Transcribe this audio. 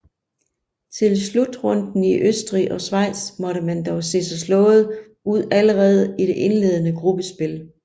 Til slutrunden i Østrig og Schweiz måtte man dog se sig slået ud allerede i det indledende gruppespil